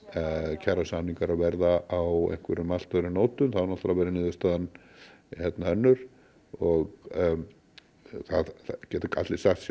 kjarasamningar verða á allt öðrum nótum þá verður niðurstaðan önnur og það geta allir sagt sér